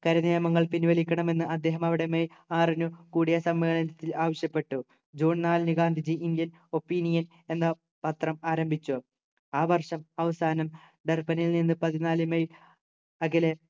കരിനിയമങ്ങൾ പിൻവലിക്കണമെന്ന് അദ്ദേഹം അവിടെ മെയ് ആറിനു കൂടിയ സമ്മേളനത്തിൽ ആവശ്യപ്പെട്ടു ജൂൺ നാലിന് ഗാന്ധിജി ഇന്ത്യയിൽ opinion എന്ന പത്രം ആരംഭിച്ചു ആ വർഷം അവസാനം ഡർബനിൽ നിന്ന് പതിനാലു മെയ് അഖിലേ